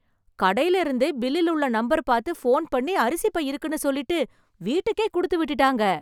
கடைல இருந்தே பில்லில் உள்ள நம்பர் பார்த்து போன் பண்ணி அரிசி பை இருக்குனு சொல்லிட்டு, வீட்டுக்கே குடுத்துவிட்டுட்டாங்க.